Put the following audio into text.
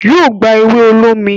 yíò gbá ewe olómi